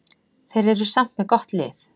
Þeir eru samt með gott lið.